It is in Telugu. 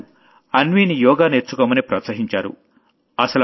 వాళ్లు అన్వీని యోగా నేర్చుకోమని ప్రోత్సహించారు